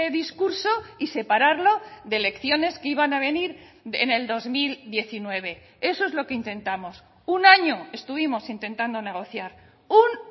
discurso y separarlo de elecciones que iban a venir en el dos mil diecinueve eso es lo que intentamos un año estuvimos intentando negociar un